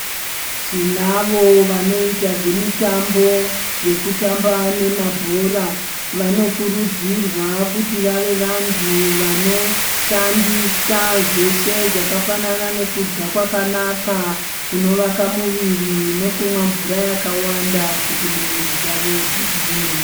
Tinavo vanoita zvemitambo vanoita zvemitambo yekutamba nemabhora vanokurudzirwa kuti vave vantu vanoshandisa zveshe zvakafanana nekudya kwakanaka kunovaka muviri nekumwa mvura yakawanda kuti mwiri dzavo dzigwinye.